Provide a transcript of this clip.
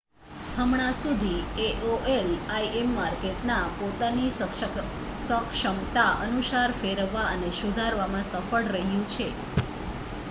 હમણાં સુધી aol im માર્કેટને પોતાની સક્ષમતા અનુસાર ફેરવવા અને સુધારવામાં સફળ રહ્યું છે